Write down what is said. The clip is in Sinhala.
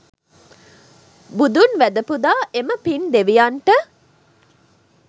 බුදුන් වැඳ පුදා එම පින් දෙවියන්ට